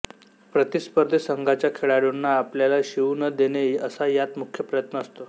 प्रतिस्पर्धी संघाच्या खेळाडूंना आपल्याला शिवू न देणे असा यात मुख्य प्रयत्न असतो